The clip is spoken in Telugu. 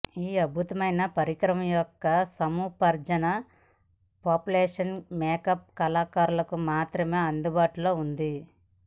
ఈ అద్భుతమైన పరికరం యొక్క సముపార్జన ప్రొఫెషనల్ మేకప్ కళాకారులకు మాత్రమే అందుబాటులో ఉంది